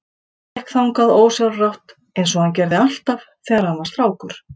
Hann gekk þangað ósjálfrátt einsog hann gerði alltaf þegar hann var strákur.